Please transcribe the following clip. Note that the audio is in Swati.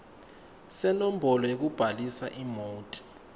senombolo yekubhalisa imoti